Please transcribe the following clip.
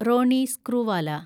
Roni Screwvala